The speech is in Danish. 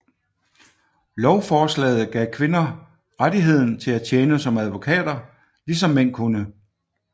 Lovforslaget gav kvinder rettigheden til at tjene som advokater ligesom mænd kunne